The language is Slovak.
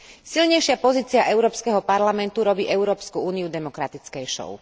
Silnejšia pozícia Európskeho parlamentu robí Európsku úniu demokratickejšou.